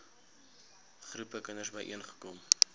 groepe kinders byeenkom